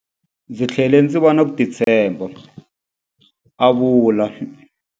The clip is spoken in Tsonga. Ndzi tlhele ndzi va na ku titshemba, a vula.